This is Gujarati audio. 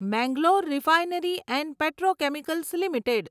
Mangalore refinery and petrochemicals limited